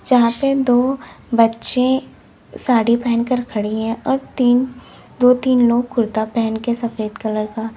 जहाँ पे दो बच्चे साड़ी पहन कर खड़ी है और तीन दो तीन लोग कुर्ता पहन के सफेद कलर का--